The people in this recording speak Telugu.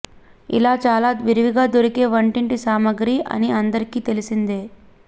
ఇది చాలా విరవిగా దొరికే వంటింటి సామాగ్రి అని అందరికీ తెలిసిందే